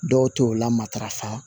Dɔw t'o lamatarafa